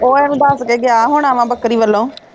ਉਹ ਏਹਨੂੰ ਦਸ ਕੇ ਗਿਆ ਹੋਣਾ ਵਾ ਬੱਕਰੀ ਵਲੋਂ